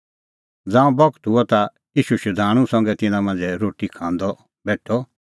ज़ांऊं बगत हुअ ता ईशू शधाणूं संघै तिन्नां मांझ़ै रोटी खांदअ बेठअ